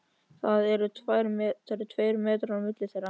Það eru tveir metrar á milli þeirra.